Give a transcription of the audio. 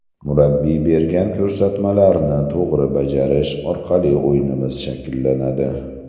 Murabbiy bergan ko‘rsatmalarni to‘g‘ri bajarish orqali o‘yinimiz shakllanadi.